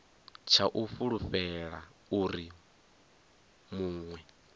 tsha u fulufhela uri munwe